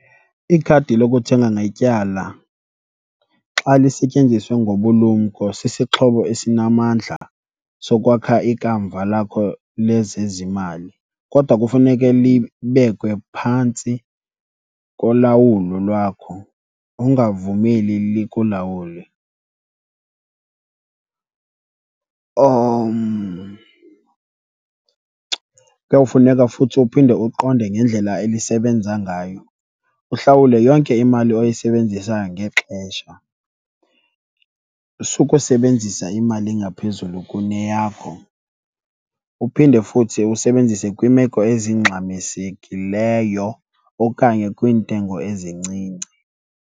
Ikhadi lokuthenga ngetyala xa lisetyenziswa ngobulumko sisixhobo esinamandla sokwakha ikamva lakho lezezimali, kodwa kufuneke libekwe phantsi kolawulo lwakho, ungavumeli likulawule. Kuyawufuneka futhi uphinde uqonde ngendlela elisebenza ngayo, uhlawule yonke imali oyisebenzisayo ngexesha. Sukusebenzisa imali engaphezulu kuneyakho, uphinde futhi usebenzise kwiimeko ezingxamisekileyo okanye kwiintengo ezincinci.